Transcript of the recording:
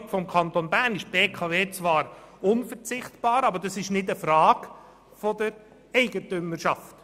Für die Stromversorgung des Kantons Bern ist die BKW zwar unverzichtbar, aber es ist nicht eine Frage der Eigentümerschaft.